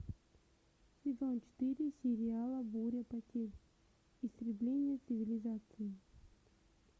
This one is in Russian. сезон четыре сериала буря потерь истребление цивилизации